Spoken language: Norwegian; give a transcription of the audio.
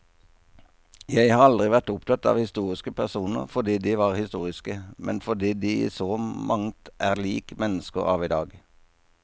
Jeg har aldri vært opptatt av historiske personer fordi de var historiske, men fordi de i så mangt er lik mennesker av i dag.